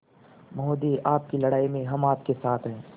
महोदय आपकी लड़ाई में हम आपके साथ हैं